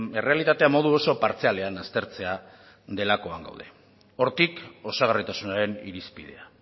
errealitatea modu oso partzialean aztertzea delakoan gaude hortik osagarritasunaren irizpidea